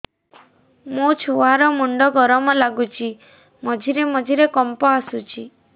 ମୋ ଛୁଆ ର ମୁଣ୍ଡ ଗରମ ଲାଗୁଚି ମଝିରେ ମଝିରେ କମ୍ପ ଆସୁଛି